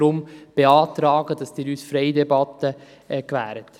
Deshalb beantragen wir Ihnen, uns eine freie Debatte zu gewähren.